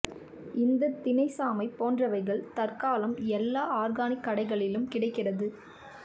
இந்தத் தினை சாமை போன்றவைகள் தற்காலம் எல்லா ஆர்கானிக் கடைகளிலும் கிடைக்கிறது